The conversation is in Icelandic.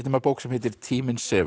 bók sem heitir tíminn sefur